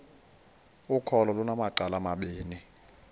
ukholo lunamacala amabini